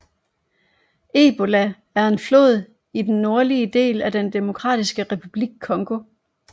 Ebola er en flod i den nordlige del af den Demokratiske Republik Congo